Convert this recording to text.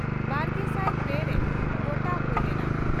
ᱵᱟᱨᱜᱮᱥᱟᱭ ᱯᱮ ᱨᱮ ᱜᱚᱴᱟ ᱦᱩᱭ ᱞᱮᱱᱟ ᱾